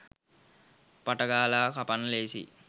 පට ගාල කපන්න ලේසියි